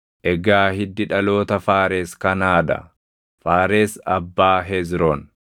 Egaa hiddi dhaloota Faares kanaa dha: Faares abbaa Hezroon;